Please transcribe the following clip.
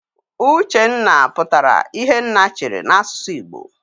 Uchenna pụtara "Ihe nna chere" n'asụsụ Igbo.